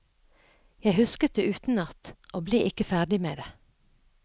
Jeg husket det utenat, og ble ikke ferdig med det.